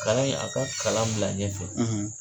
Kalan in a ka kalan bila ɲɛ fɛ.